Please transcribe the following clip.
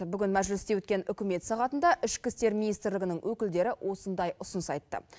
бүгін мәжілісте өткен үкімет сағатында ішкі істер министрлігінің өкілдері осындай ұсыныс айтты